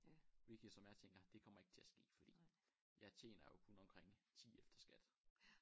Hvilket som jeg tænker det kommer ikke til at ske fordi jeg tjener jo kun omkring 10 efter skat